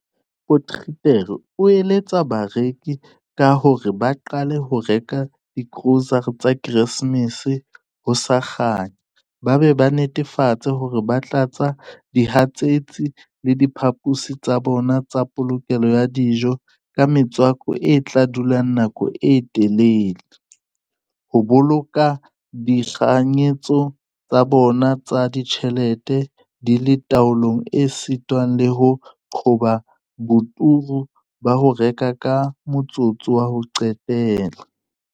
Potgieter o eletsa bareki ka hore ba qale ho reka digrosare tsa Keresemese ho sa kganya ba be ba netefatse hore ba tlatsa dihatsetsi le diphaposi tsa bona tsa polokelo ya dijo ka metswako e tla dula nako e telele, ho boloka ditekanyetso tsa bona tsa ditjhelete di le taolong esita le ho qoba boturu ba ho reka ka motsotso wa ho qetela.